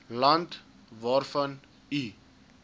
land waarvan u